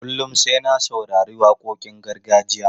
Kullum sai na saurari waƙoƙin gargajiya.